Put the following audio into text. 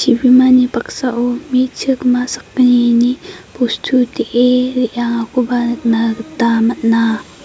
chibimani paksao me·chikma sakgnini bostu de·e re·angakoba nikna gita man·a.